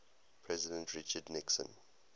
president richard nixon